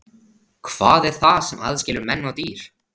Hvað er það sem aðskilur menn og dýr?